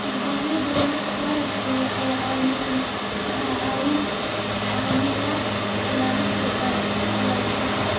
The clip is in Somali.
Nidaamyada waraabku waxay caawiyaan ilaalinta dalagyada.